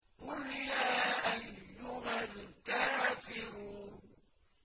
قُلْ يَا أَيُّهَا الْكَافِرُونَ